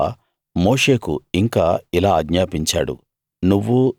యెహోవా మోషేకు ఇంకా ఇలా ఆజ్ఞాపించాడు